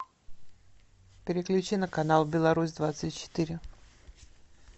переключи на канал беларусь двадцать четыре